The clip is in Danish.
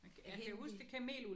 Det er helt vild